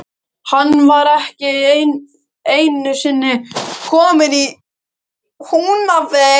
Hann var ekki einusinni kominn í Húnaver.